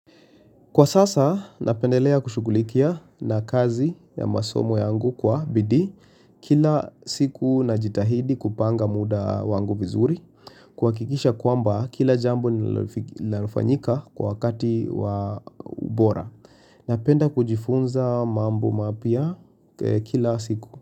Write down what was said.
Kwa sasa, napendelea kushughulikia na kazi ya masomo yangu kwa bidii kila siku najitahidi kupanga muda wangu vizuri kuhakikisha kwamba kila jambo nila linalofanyika kwa wakati wa bora napenda kujifunza mambo mapya kila siku.